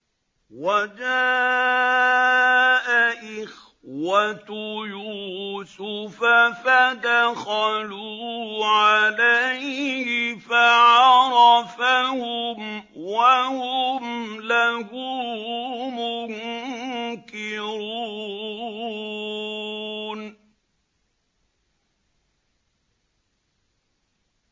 وَجَاءَ إِخْوَةُ يُوسُفَ فَدَخَلُوا عَلَيْهِ فَعَرَفَهُمْ وَهُمْ لَهُ مُنكِرُونَ